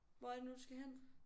Hvor er det nu du skal hen?